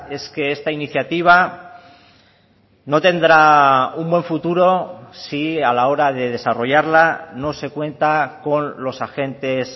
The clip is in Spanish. es que esta iniciativa no tendrá un buen futuro si a la hora de desarrollarla no se cuenta con los agentes